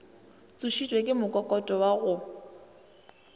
tsošitšwe ke mokokoto wa go